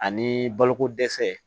Ani baloko dɛsɛ